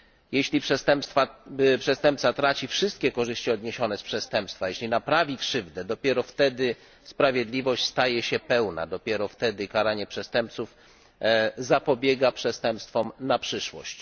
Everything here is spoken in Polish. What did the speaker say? Jeśli przestępca traci wszystkie korzyści odniesione z przestępstwa, jeśli naprawi krzywdę, dopiero wtedy sprawiedliwość staje się pełna. Dopiero wtedy karanie przestępców zapobiega przestępstwom na przyszłość.